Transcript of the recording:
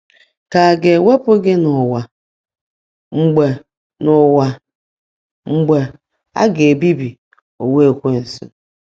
Ka a ga-ewepụ gị n’ụwa mgbe n’ụwa mgbe a ga-ebibi ụwa Ekwensu?